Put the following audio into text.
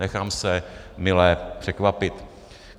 Nechám se mile překvapit.